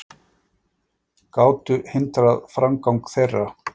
gátu hindrað framgang þeirra.